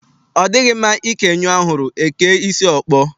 Ọ dịghị mma ikè nyụọ ahụrụ, e kee isi ọkpọ.